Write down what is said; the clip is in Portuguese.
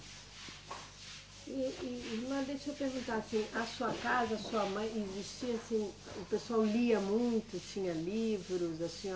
E, e irmã, deixa eu perguntar aqui, a sua casa, sua mãe, existia assim, o pessoal lia muito, tinha livros, a senho